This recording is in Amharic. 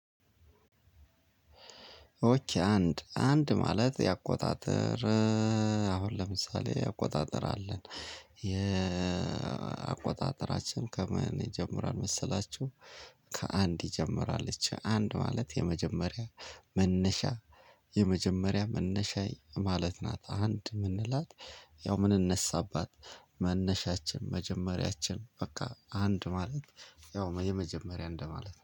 ኦኬ አንድ አንድ ማለት ያቆጣጠር። አሁን ለምሳሌ አቆጣጠር አለን። የአቆጣጠራችን ከምን ይጀምራል መሰላችሁ። ከአንድ ይጀምራለች አንድ ማለት የመጀመሪያ መነሻ። የመጀመሪያ መነሻዬ ማለት ናት። አንድ የምንላት ያው ምንነሳባት መነሻችን መጀመሪያችን በቃ አንድ ማለት። ያው የመጀመሪያ እንደማለት